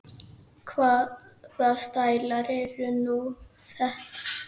Hvaða stælar eru nú þetta?